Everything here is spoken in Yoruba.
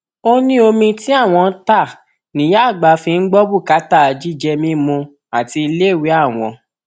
ó ní omi tí àwọn ń ta níyà àgbà fi ń gbọ bùkátà jíjẹ mímu àti iléèwé àwọn